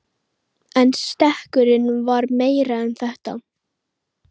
En stekkurinn var meira en þetta.